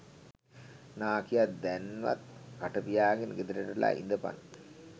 නාකියා දැන්වත් කට පියාගෙන ගෙදරට වෙලා ඉදපන්